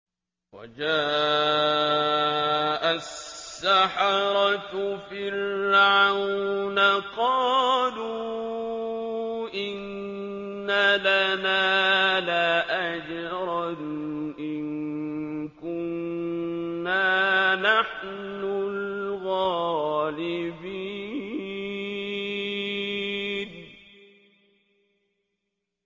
وَجَاءَ السَّحَرَةُ فِرْعَوْنَ قَالُوا إِنَّ لَنَا لَأَجْرًا إِن كُنَّا نَحْنُ الْغَالِبِينَ